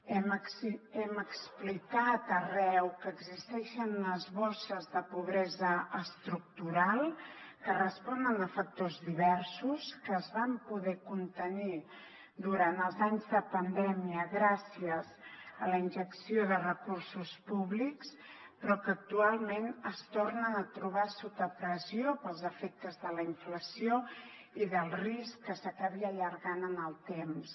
hem explicat arreu que existeixen unes bosses de pobresa estructural que responen a factors diversos que es van poder contenir durant els anys de pandèmia gràcies a la injecció de recursos públics però que actualment es tornen a trobar sota pressió pels efectes de la inflació i del risc que s’acabi allargant en el temps